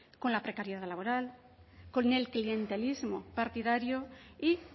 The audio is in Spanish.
con la precariedad laboral con el clientelismo partidario y